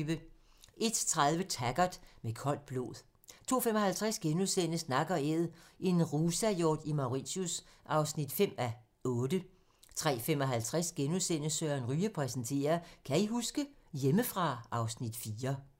01:30: Taggart: Med koldt blod 02:55: Nak & æd - en rusahjort i Mauritius (5:8)* 03:55: Søren Ryge præsenterer: Kan I huske? - Hjemmefra (Afs. 4)*